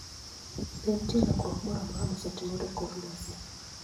Be nitie lokruok moro amora mosetimore e kor lwasi?